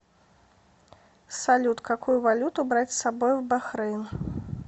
салют какую валюту брать с собой в бахрейн